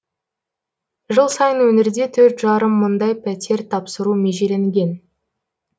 жыл сайын өңірде төрт жарым мыңдай пәтер тапсыру межеленген